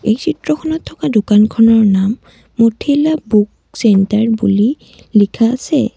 এই চিত্ৰখনত থকা দোকানখনৰ নাম মিথিলা বুক চেন্টাৰ বুলি লিখা আছে।